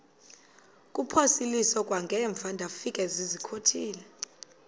kuphosiliso kwangaemva ndafikezizikotile